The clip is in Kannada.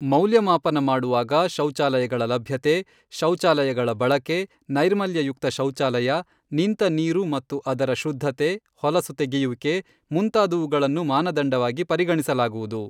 ಮೌಲ್ಯಮಾಪನ ಮಾಡುವಾಗ ಶೌಚಾಲಯಗಳ ಲಭ್ಯತೆ, ಶೌಚಾಲಯಗಳ ಬಳಕೆ, ನೈರ್ಮಲ್ಯಯುಕ್ತ ಶೌಚಾಲಯ, ನಿಂತ ನೀರು ಮತ್ತು ಅದರ ಶುದ್ಧತೆ, ಹೊಲಸು ತೆಗೆಯುವಿಕೆ, ಮುಂತಾದವುಗಳನ್ನು ಮಾನದಂಡವಾಗಿ ಪರಿಗಣಿಸಲಾಗುವುದು.